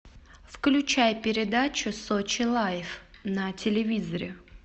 включай передачу сочи лайв на телевизоре